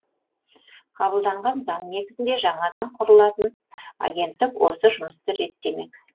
қабылданған заң негізінде жаңадан құрылатын агенттік осы жұмысты реттемек